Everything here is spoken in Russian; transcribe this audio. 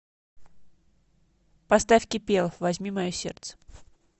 поставь кипелов возьми мое сердце